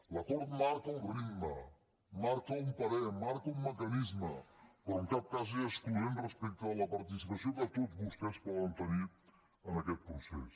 l’acord marca un ritme marca un parer marca un mecanisme però en cap cas és excloent respecte de la participació que tots vostès poden tenir en aquest procés